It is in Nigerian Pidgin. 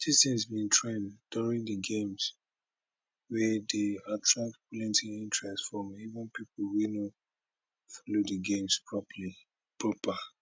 dis tins bin trend during di games wia dey attract plenti interest from even pipo wey no follow di games proper